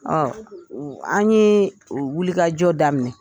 Ɔɔ an ye wulikajɔ daminɛ.